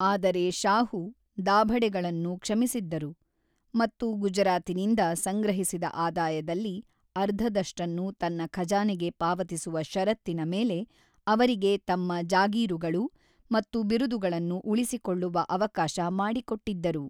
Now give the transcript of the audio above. ಆದರೆ ಶಾಹು, ದಾಭಡೆಗಳನ್ನು ಕ್ಷಮಿಸಿದ್ದರು ಮತ್ತು ಗುಜರಾತಿನಿಂದ ಸಂಗ್ರಹಿಸಿದ ಆದಾಯದಲ್ಲಿ ಅರ್ಧದಷ್ಟನ್ನು ತನ್ನ ಖಜಾನೆಗೆ ಪಾವತಿಸುವ ಷರತ್ತಿನ ಮೇಲೆ ಅವರಿಗೆ ತಮ್ಮ ಜಾಗೀರುಗಳು ಮತ್ತು ಬಿರುದುಗಳನ್ನು ಉಳಿಸಿಕೊಳ್ಳುವ ಅವಕಾಶ ಮಾಡಿಕೊಟ್ಟಿದ್ದರು.